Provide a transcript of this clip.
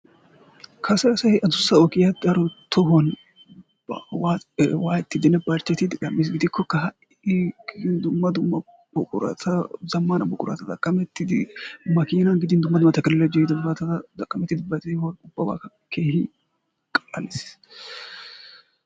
Kase asay adussa ogiyan tohuwan waayettiiddinne barchchetiiddi gam"iis. Gidikkokka ha"i dumma dumma zammaana buqurata go'ettidi makiinan gidin dumma dumma tekinoloojjee ehidobata xaqqamettidi ba de'uwa qallallissiis.